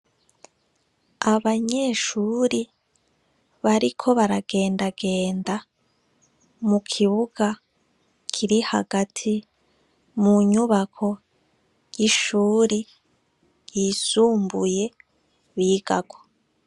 Abanyeshure bariko baragendagenda, mu kibuga kiri hagati munyubako ry' ishure ry' isumbuye bigako ry' ubakishijw' amatafar' ahiye n' ibiti birebire bibonek'imbere yaryo.